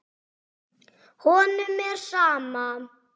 Honum er sama.